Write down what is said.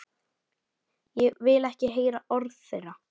Vil ekki heyra orð þeirra.